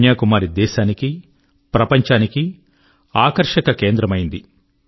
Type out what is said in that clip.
కన్యాకుమారి దేశాని కి ప్రపంచాని కి ఆకర్షక కేంద్రమైంది